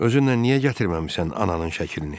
Özünlə niyə gətirməmisən ananın şəklini?